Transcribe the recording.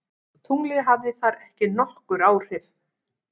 Tunglið hafði þar ekki nokkur áhrif.